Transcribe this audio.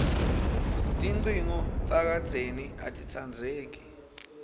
tincingo takadzeni atitsandzeki